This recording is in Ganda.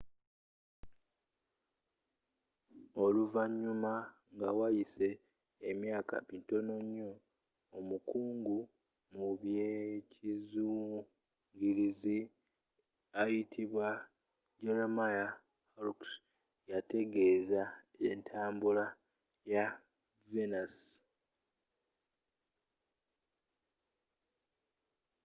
oluvannyuma nga wayise emyaka mitono nnyo omukugu mu by'ekizungirizi ayitibwa jeremiah harrocks yetegereza entambula ya venus